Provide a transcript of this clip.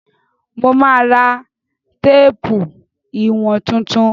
Mo ma ra téèpù ìwọ̀n tuntun.